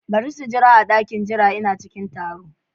Bari su jira a dakin jira, Ina cikin taro.